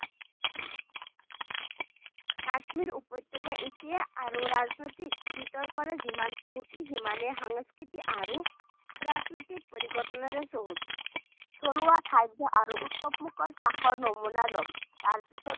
কাশ্মীৰ উপত্যকা এতিয়া আৰু ৰাজনৈতিক বিতৰ্কৰে যিমান চহকী সিমানে সাংস্কৃতিক আৰু প্ৰাকৃতিক পৰিঘটনাৰে চহকী থলুৱা খাদ্য আৰু উৎসৱমুখৰ চাহৰ নমুনা লওক তাৰপিছত